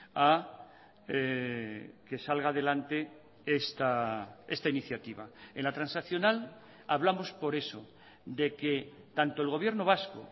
a que salga adelante esta iniciativa en la transaccional hablamos por eso de que tanto el gobierno vasco